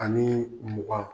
Anii mugan